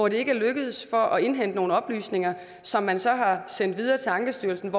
ikke er lykkedes for at indhente nogle oplysninger som man så har sendt videre til ankestyrelsen